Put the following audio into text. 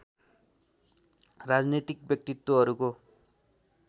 राजनीतिक व्यक्तित्त्वहरूको